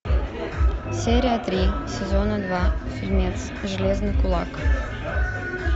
серия три сезона два фильмец железный кулак